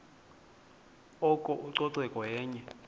oko ucoceko yenye